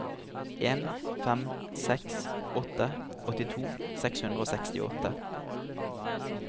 en fem seks åtte åttito seks hundre og sekstiåtte